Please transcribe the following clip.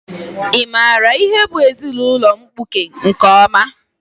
Ị maara ihe bụ ezinaụlọ mkpuke nke ọma?